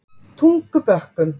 Tungubökkum